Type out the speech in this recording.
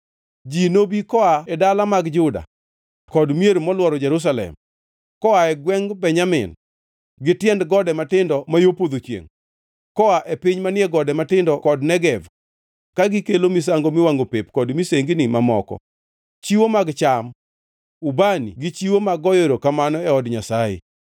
Ji nobi koa e dala mag Juda kod mier molworo Jerusalem, koae gwengʼ Benjamin gi tiend gode matindo ma yo podho chiengʼ, koa e piny manie gode matindo kod Negev, ka gikelo misango miwangʼo pep kod misengini mamoko, chiwo mag cham, ubani gi chiwo mag goyo erokamano e od Jehova Nyasaye.